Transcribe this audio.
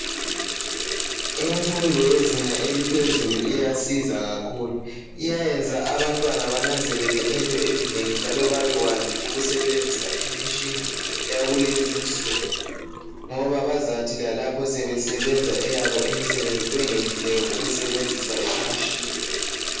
Imfundo yezinga eliphezulu iyasiza kakhulu iyayenza abantwana benanzelele into ezinengi njalo bebekwazi ukusebenzisa imitshina eyakulezi insuku ngoba bazathi lalapho sebesebenza eyabo imsebenzi bengehluleki ukusebenzisa imitshina.